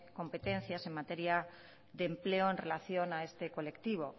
competencias en materia de empleo en relación a este colectivo